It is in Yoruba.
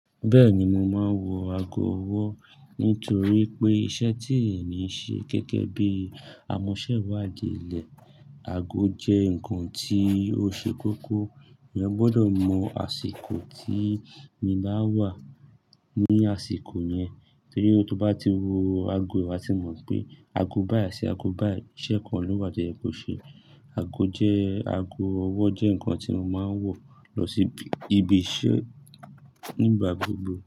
Bẹ́ẹ̀ni, mo máa ń wọ ago ọwọ́ nítorí pé iṣẹ́ tí èmi ń ṣe gẹ́gẹ́ bí i amọ̀sẹ́wàadẹ̀lẹ̀, ago jẹ́ ǹkan tí ó ṣe kókó. Ẹ̀yàn gbọ́dọ̀ mọ asiko tí e bá wà ní àsìkò yẹn torí pé tí o bá ti wo ago, wá ti mọ̀ pé ago báyìí ṣe ago báyìí iṣẹ́ kan ló wà to yẹ̀ kó ṣe. Ago jẹ́, ago ọwọ́ jẹ́ ǹkan tí mo máa ń wọ̀ lọ sí ibi iṣẹ́ nígbà gbogbo.